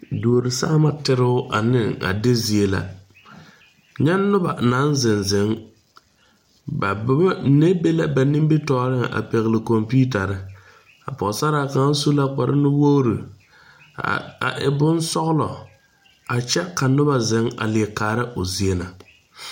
Duore sããma teroo aneŋ a de zie la nyɛ nobɔ naŋ zeŋ zeŋ ba mine be la ba nimitooreŋ a pɛgle kɔmpiutarre a pɔɔsaraa kaŋa su la kpare nuwogre a e bonsɔglɔ a kyɛ ka nobɔ zeŋ a lie kaara o zie na.